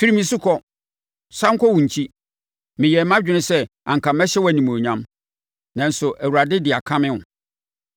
Firi me so kɔ! Sane kɔ wo nkyi! Meyɛɛ mʼadwene sɛ anka mɛhyɛ wo animuonyam, nanso, Awurade de akame wo!”